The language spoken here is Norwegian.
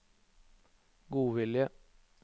godvilje